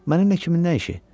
Mənimlə kimin nə işi?